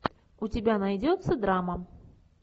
у тебя найдется драма